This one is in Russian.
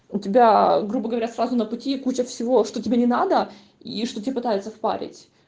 у тебя грубо говоря сразу на пути куча всего что тебе не надо и что тебе пытаются впарить